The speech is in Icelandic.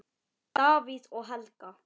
Davíð og Helga.